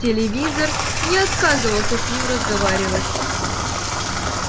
телевизор не отказывался с ним разговаривать